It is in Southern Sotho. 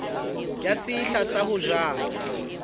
ya sehla sa ho jala